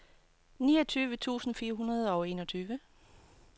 niogtyve tusind fire hundrede og enogtyve